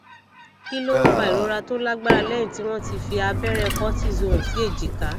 kí ló ń fa ìrora tó lágbára lẹyìn tí wọn ti fi abẹrẹ cortisone sí èjìká